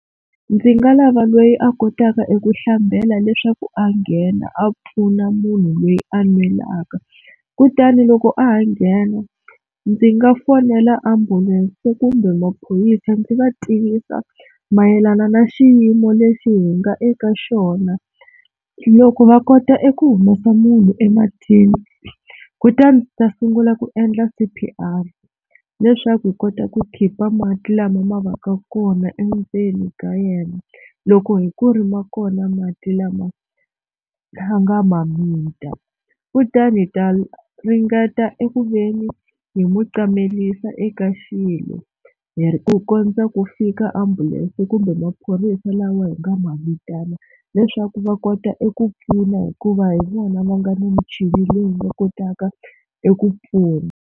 Ndzi nga lava loyi a kotaka eku hlambela leswaku a nghena a pfuna munhu loyi a nwelaka kutani loko a ha nghena ndzi nga fonela ambulense kumbe maphorisa ndzi va tivisa mayelana na xiyimo lexi hi nga eka xona, loko va kota eku humesa munhu ematini kutani ta sungula ku endla C_P_R leswaku hi kota ku khipa mati lama ma va ka kona endzeni ka yena, loko hi ku ri ma kona mati lama a nga ma mita kutani hi ta ringeta eku ve ni hi mu qamelisa eka xilo hi ku kondza ku fika ambulense kumbe maphorisa lawa hi nga ma vitana leswaku va kota eku pfuna hikuva hi vona va nga na michini leyi nga kotaka eku pfuna.